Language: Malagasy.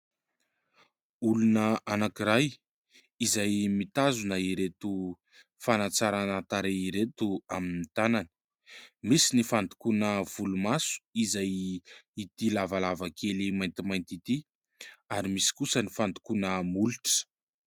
Olona anankiray izay mitazona ireto fanatsarana tarehy ireto amin'ny tanany : misy ny fandokoana volomaso izay ity lavalava kely maintimainty ity ary misy kosa ny fandokoana molotra.